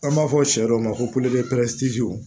An b'a fɔ sɛ dɔw ma ko